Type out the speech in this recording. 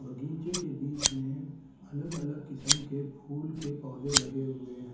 बगीचे के बिच में अलग अलग किस्म के फुल के पोधे लगे हुए है।